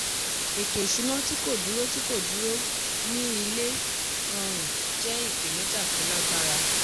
ètò ìṣúná tí kò dúró tí kò dúró ní ilé rọrùn jẹ́ ipenija tó lágbára.